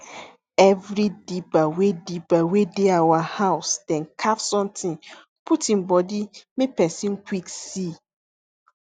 every dibber wey dibber wey dey our housedem carve somtin put em body make pesin quick see